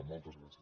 moltes gràcies